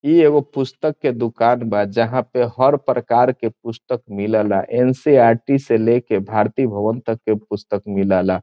इ एगो पुस्तक के दूकान बा जहाँ पे हर प्रकार के पुस्तक मिलेला एन.सी.इ.आर.टी. से ले के भारती भवन तक के पुस्तक मिलेला।